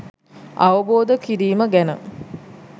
අවබෝධ කිරීම ගැන